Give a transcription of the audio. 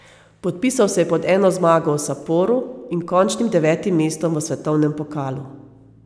Podpisal se je pod eno zmago v Saporu in končnim devetim mestom v svetovnem pokalu.